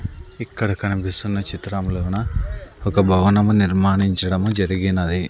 ఇక్కడ కనిపిస్తున్న చిత్రం లోన ఒక భవనము నిర్మాణించడము జరిగినది.